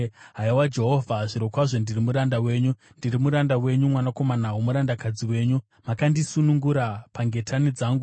Haiwa Jehovha, zvirokwazvo ndiri muranda wenyu; ndiri muranda wenyu, mwanakomana womurandakadzi wenyu; makandisunungura pangetani dzangu.